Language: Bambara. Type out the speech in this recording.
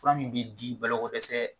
Fura min bi di balo ko dɛsɛ